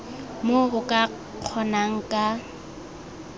moo o ka kgonang ka